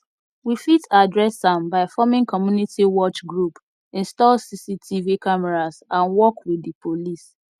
we fit address am by forming community watch group install cctv cameras and work with di police